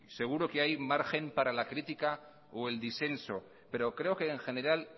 seguro que hay margen para la crítica o el disenso pero creo que en general